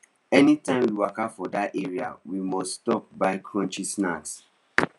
anytime we waka for that area we must stop buy crunchy snack